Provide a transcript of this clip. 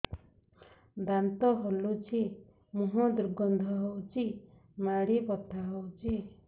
ଦାନ୍ତ ହଲୁଛି ମୁହଁ ଦୁର୍ଗନ୍ଧ ହଉଚି ମାଢି ବଥା ହଉଚି